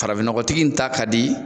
Farafinnɔgɔtigi in ta ka di.